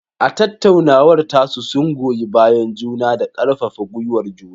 A tattaunawar tasu, sun goyi bayan juna da karfafa gwiwar juna.